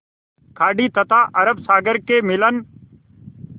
खाड़ी तथा अरब सागर के मिलन